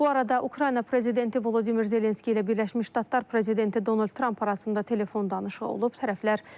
Bu arada Ukrayna prezidenti Volodimir Zelenski ilə Birləşmiş Ştatlar prezidenti Donald Tramp arasında telefon danışığı olub.